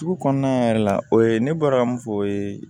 Sugu kɔnɔna yɛrɛ la o ye ne bɔra mun fɔ o ye